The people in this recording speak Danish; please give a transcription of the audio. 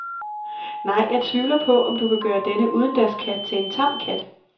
Nej, jeg tvivler på, om du kan gøre denne udendørskat til en tam kat.